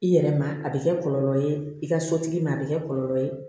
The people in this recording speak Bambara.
I yɛrɛ ma a bɛ kɛ kɔlɔlɔ ye i ka sotigi ma a bɛ kɛ kɔlɔlɔ ye